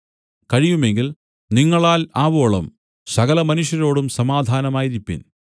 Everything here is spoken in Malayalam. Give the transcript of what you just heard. കഴിയുമെങ്കിൽ നിങ്ങളാൽ ആവോളം സകലമനുഷ്യരോടും സമാധാനമായിരിപ്പിൻ